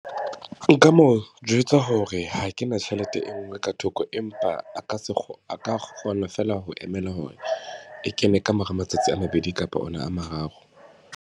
Nka mo jwetsa hore ha ke na tjhelete e nngwe ka thoko, empa a ka se a ka kgona fela ho emela hore e kene kamora matsatsi a mabedi kapa ona a mararo.